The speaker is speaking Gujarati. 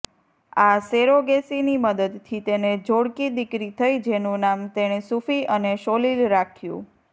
આ સેરોગેસીની મદદથી તેને જોડકી દીકરી થઇ જેનું નામ તેણે સુફી અને સોલીલ રાખ્યું